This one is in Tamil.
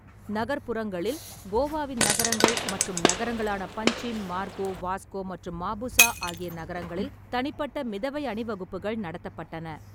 நகர்ப்புறங்களில், கோவாவின் நகரங்கள் மற்றும் நகரங்களான பஞ்சிம், மார்கோ, வாஸ்கோ மற்றும் மாபுசா ஆகிய நகரங்களில் தனிப்பட்ட மிதவை அணிவகுப்புகள் நடத்தப்பட்டன.